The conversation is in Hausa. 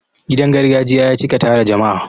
Gidan gargajiya ya cika tara jama'a.